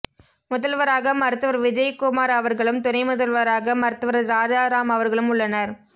முதல்வராக மருத்துவர் விஜயகுமார் அவர்களும் துணை முதல்வராக மருத்துவர் ராஜாராம் அவர்களும் உள்ளனர்